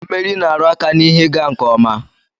Mmeri na-aru aka na ihe ịga nke ọma